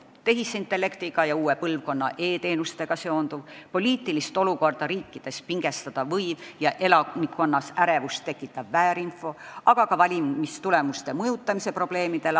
Pean silmas tehisintellektiga ja uue põlvkonna e-teenustega seonduvat, poliitilist olukorda riikides pingestada võivat ja elanikkonnas ärevust tekitavat väärinfot, aga ka valimistulemuste mõjutamise probleeme.